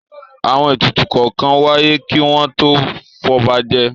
Àwọn ètùtù kọ̀ọ̀kan wáyé kí wọ́n tó fọba jẹ.